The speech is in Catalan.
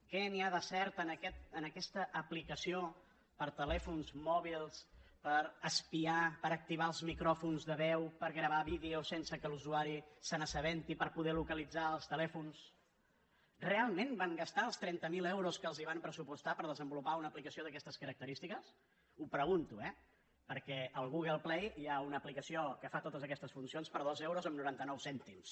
què hi ha de cert en aquesta aplicació per a telèfons mòbils per espiar per activar els micròfons de veu per gravar vídeos sense que l’usuari se n’assabenti per poder localitzar els telèfons realment van gastar els trenta mil euros que els van pressupostar per desenvolupar una aplicació d’aquestes característiques ho pregunto eh perquè al google play hi ha una aplicació que fa totes aquestes funcions per dos euros amb noranta nou cèntims